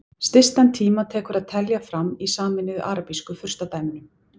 Stystan tíma tekur að telja fram í Sameinuðu arabísku furstadæmunum.